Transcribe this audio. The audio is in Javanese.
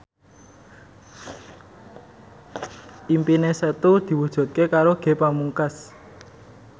impine Setu diwujudke karo Ge Pamungkas